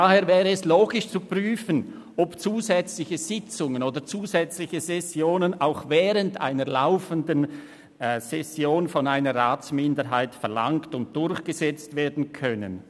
Daher wäre es logisch zu prüfen, ob zusätzliche Sitzungen oder zusätzliche Sessionen auch während einer laufenden Session von einer Ratsminderheit verlangt und durchgesetzt werden können.